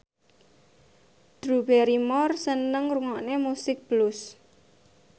Drew Barrymore seneng ngrungokne musik blues